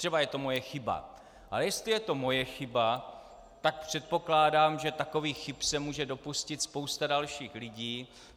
Třeba je to moje chyba, ale jestli je to moje chyba, tak předpokládám, že takových chyb se může dopustit spousta dalších lidí.